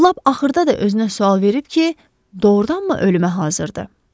Lap axırda da özünə sual verib ki, doğrudanmı ölümə hazırdır?